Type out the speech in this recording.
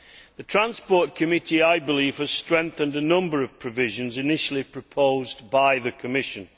The Transport Committee has, I believe, strengthened a number of provisions initially proposed by the Commission.